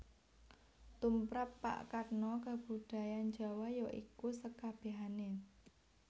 Tumrap Pak Katno kabudayan Jawa ya iku sekabehane